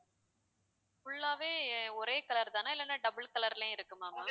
full ஆவே ஒரே color தானா இல்லேன்னா double color லயும் இருக்குமா ma'am